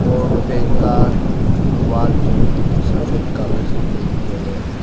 और बैंक का वॉल जो सफेद कलर से पेंट किया गया है।